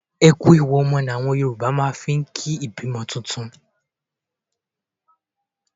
E kú ewu ọmọ ni àwọn Yorùbá máa ń fi ń kí ìbímọ ọmọ tuntun.